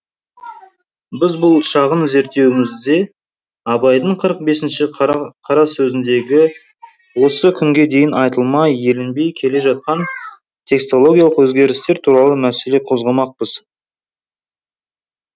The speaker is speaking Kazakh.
біз бұл шағын зерттеуімізде абайдың қырық бесінші қарасөзіндегі осы күнге дейін айтылмай еленбей келе жатқан текстологиялық өзгерістер туралы мәселе қозғамақпыз